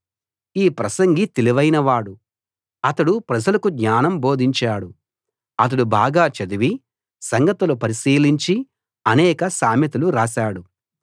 ఈ ప్రసంగి తెలివైనవాడు అతడు ప్రజలకు జ్ఞానం బోధించాడు అతడు బాగా చదివి సంగతులు పరిశీలించి అనేక సామెతలు రాశాడు